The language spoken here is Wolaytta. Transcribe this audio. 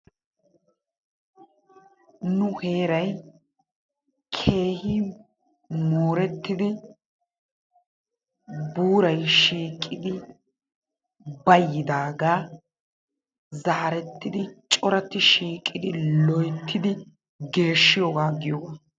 Nu heeray keehi moorettidi buuray shiiqidi bayidaagaa zaarettidi corati shiiqidi loyttidi geeshiyoogaa giyoogaa.